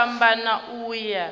tshi a fhambana u ya